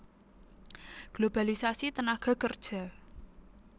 Globalisasi tenaga kerja